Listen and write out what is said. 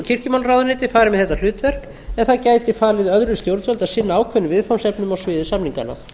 kirkjumálaráðuneytið fari með þetta hlutverk en það gæti falið öðru stjórnvaldi að sinna ákveðnum viðfangsefnum á sviði samninganna